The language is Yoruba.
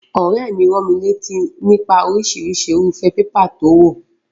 Òréè mi ránmilátí nípa orísirísi irúfé paper to wò